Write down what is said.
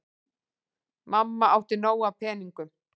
Mamma átti nóg af peningum.